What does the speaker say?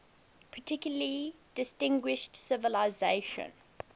particularly distinguished civilization